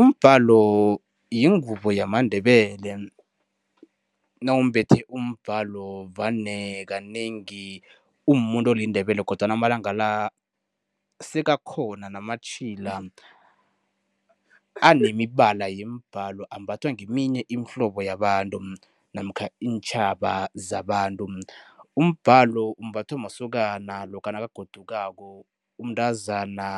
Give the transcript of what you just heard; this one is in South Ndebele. Umbhalo yingubo yamaNdebele. Nawumbethe umbhalo vane kanengi umumuntu oliNdebele kodwana amalanga la sekakhona namatjhila anemibala yemibhalo, ambathwa ngeminye imihlobo yabantu namkha iintjhaba zabantu. Umbhalo umbathwa masokana lokha nakagodukako, umntazana